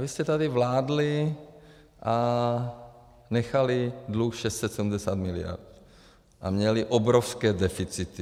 Vy jste tady vládli a nechali dluh 670 miliard a měli obrovské deficity.